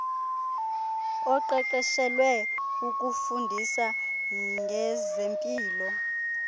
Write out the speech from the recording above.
oqeqeshelwe ukufundisa ngezempilo